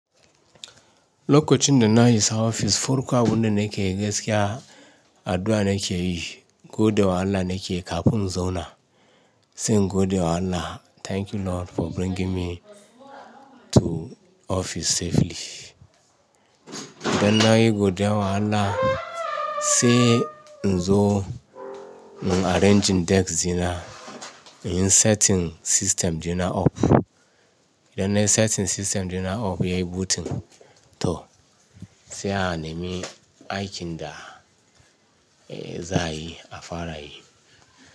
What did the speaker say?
Lokacin da na isa ofis, farkon abun da nake gaskiya addu'a nake yi, gode wa Allah nake kafin na zauna. Se in gode wa Allah. Thank you Lord for bringing me to office safely. Idan na yi gode wa Allah, sai in zo in arranging desk dina, in setting system dina up. Idan na setting system dina up yayi booting toh sai a nemi aikin da za a yi a fara yi.